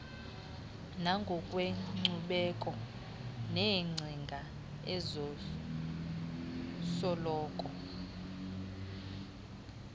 nangokwenkcubeko neengcinga ezisoloko